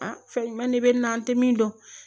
fɛn ɲuman de bɛ na an tɛ min dɔn